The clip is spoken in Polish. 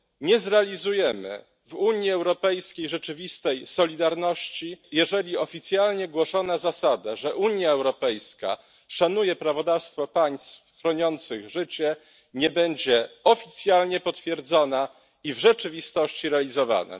Nie zrealizujemy w Unii Europejskiej rzeczywistej solidarności, jeżeli oficjalnie głoszona zasada, że Unia Europejska szanuje prawodawstwo państw chroniących życie, nie będzie oficjalnie potwierdzona i w rzeczywistości realizowana.